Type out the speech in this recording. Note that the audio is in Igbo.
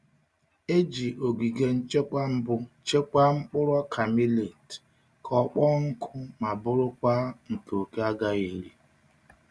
E ji ogige nchekwa mbụ chekwaa mkpụrụ ọka millet ka ọ kpọọ nkụ ma bụrụkwa nke òké agaghị eri.